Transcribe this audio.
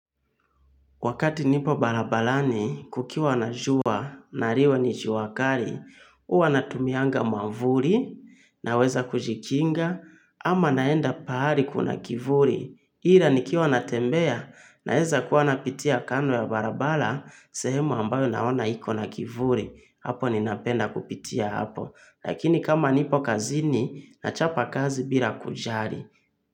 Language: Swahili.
Wakati nipo barabarani, kukiwa na jua, na liwe ni jua kali, huwa natumianga mwavuli, naweza kujikinga, ama naenda pahali kuna kivuli. Hila nikiwa natembea, naeza kuwa napitia kando ya barabara, sehemu ambayo naona iko na kivuli, hapo ninapenda kupitia hapo. Lakini kama nipo kazini, nachapa kazi bila kujali.